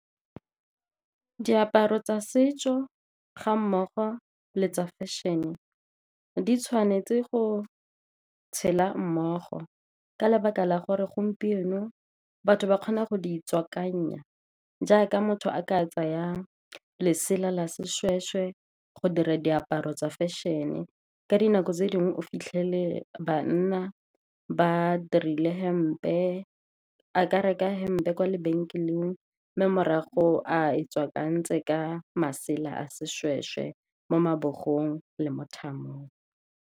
Diaparo tsa setso ga mmogo le tsa fashion-e, di tshwanetse go tshela mmogo, ka lebaka la gore gompieno batho ba kgona go di tswakanya, jaaka motho a ka tsaya lesela la seshweshwe go dira diaparo tsa fashion-e. Ka dinako tse dingwe, o fitlhele bana ba dirile hempe, a ka reka hempe kwa lebenkeleng, mme morago a e tswakantse ka masela a seshweshwe mo mabogong le mo thamong.